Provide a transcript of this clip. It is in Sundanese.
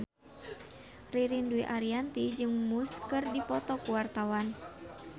Ririn Dwi Ariyanti jeung Muse keur dipoto ku wartawan